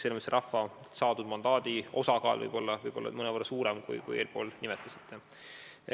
Selles mõttes võib rahvalt saadud mandaadi osakaal olla mõnevõrra suurem, kui te nimetasite.